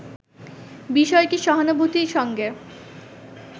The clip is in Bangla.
বিষয়টি ‘সহানুভূতির’ সঙ্গে